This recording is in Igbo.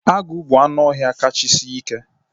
Agụ bụ anụ ọhịa kachasị sie ike